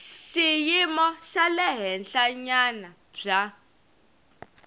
xiyimo xa le henhlanyana bya